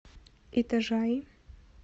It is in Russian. итажаи